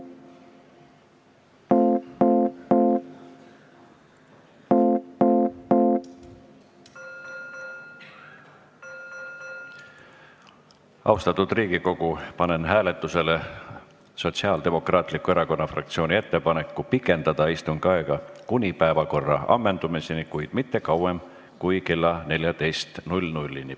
Austatud Riigikogu, panen hääletusele Sotsiaaldemokraatliku Erakonna fraktsiooni ettepaneku pikendada istungi aega kuni päevakorra ammendumiseni, kuid mitte kauem kui kella 14-ni.